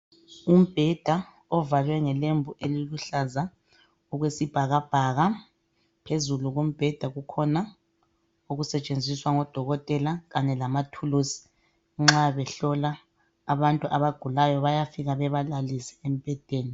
Umbheda ovalwe ngelembu eliluhlaza okwesibhakabhaka. Phezulu kombheda kukhona okusetshenziswa ngodokotela kanye lamathulusi. Nxa behlola abantu abagulayo bayafika bebalalise embhedeni.